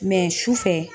sufɛ